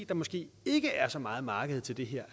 der måske ikke er så meget marked til det her